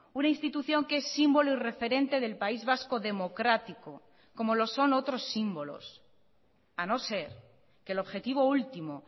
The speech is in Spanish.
una institución que es símbolo y referente del país vasco democrático como lo son otros símbolos a no ser que el objetivo último